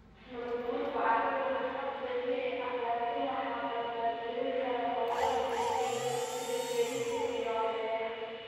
Nabaadguurka carradu waa hab dabiici ah laakiin waxaa dardar gelin kara hawlaha bani'aadamka sida jarista iyo beeraha.